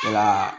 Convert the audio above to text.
Wala